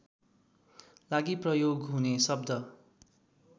लागि प्रयोग हुने शब्द